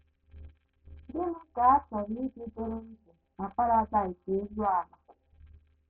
Gịnị ka a chọrọ iji dịrị ndụ na Paradaịs elu ala?